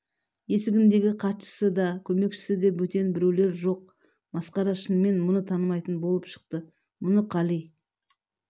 есігіндегі хатшысы да көмекшісі де бөтен біреулер жоқ масқара шынымен мұны танымайтын болып шықты мұны қали